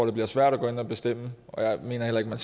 det bliver svært at gå ind at bestemme og jeg mener heller